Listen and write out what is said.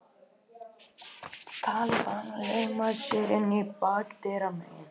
Talibanar lauma sér inn bakdyramegin